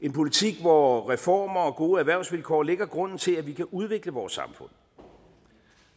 en politik hvor reformer og gode erhvervsvilkår lægger grunden til at vi kan udvikle vores samfund